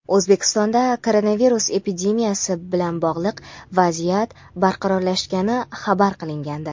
O‘zbekistonda koronavirus epidemiyasi bilan bog‘liq vaziyat barqarorlashgani xabar qilingandi.